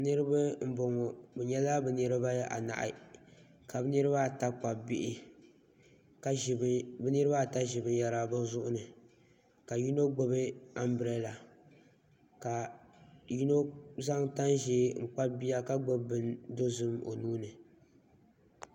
Niraba n boŋo bi nyɛla niraba anahi ka bi niraba ata kpabi bihi ka bi niraba ata ʒi binyɛra bi zuɣu ni ka yino gbubi anbirala ka yino zaŋ tani ƶiɛ n kpabi bia ka gbubi bin dozim o nuuni